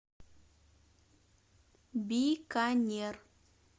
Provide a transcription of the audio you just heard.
биканер